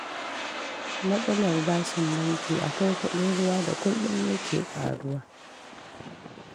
Matsalar bashin banki, akwai kuɗin ruwa da kullum yake ƙaruwa